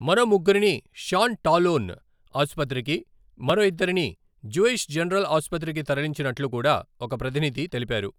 మరో ముగ్గురిని షాన్ టాలోన్ ఆసుపత్రికి, మరో ఇద్దరిని జ్యూయిష్ జనరల్ ఆసుపత్రికి తరలించినట్లు కూడా ఒక ప్రతినిధి తెలిపారు.